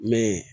Mɛ